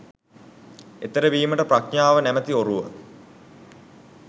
එතෙර වීමට ප්‍රඥාව නමැති ඔරුව